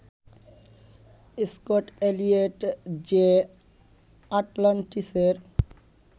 Scott-Elliot যে আটলান্টিসের